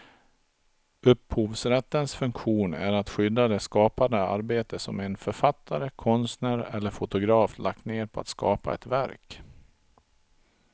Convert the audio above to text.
Upphovsrättens funktion är att skydda det skapande arbete som en författare, konstnär eller fotograf lagt ned på att skapa ett verk.